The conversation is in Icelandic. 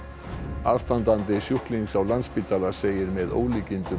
aðstandandi sjúklings á Landspítala segir með ólíkindum að